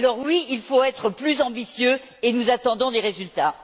Alors, oui, il faut être plus ambitieux, et nous attendons des résultats.